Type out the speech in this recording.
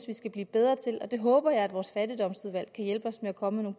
vi skal blive bedre til det håber jeg at vores fattigdomsudvalg kan hjælpe os med at komme